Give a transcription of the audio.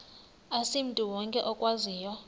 asimntu wonke okwaziyo